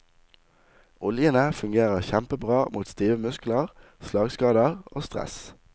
Oljene fungerer kjempebra mot stive muskler, slagskader og stress.